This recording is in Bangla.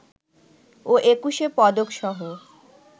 ও একুশে পদকসহ